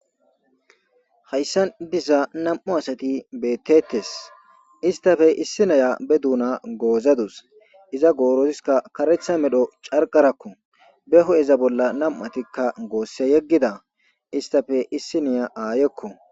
Hayssan diza nam7u asati beettettes. Istappe issi nayiya be duuna goozadus. Iza gooZoska karetha medho carqarakko. Be ho7eza bolla nam7atikka goosse yeggida istappe issiniya aayekko.